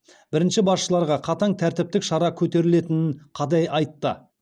бірінші басшыларға қатаң тәртіптік шара көрілетінін қадай айтты